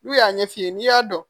N'u y'a ɲɛ f'i ye n'i y'a dɔn